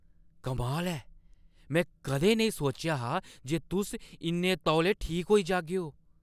कमाल ऐ ! में कदें नेईं सोचेआ हा जे तुस इन्ने तौले ठीक होई जागेओ।